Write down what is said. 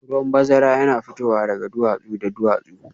Ruwan bazara yana fitowa daga duwatsu da duwatsu